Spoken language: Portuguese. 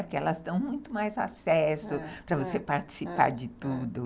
Porque elas dão muito mais acesso para você participar de tudo.